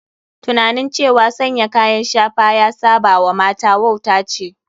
Tunanin cewa sanya kayan shafa ya saba wa mata wauta ce.